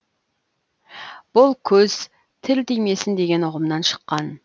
бұл көз тіл тимесін деген ұғымнан шыққан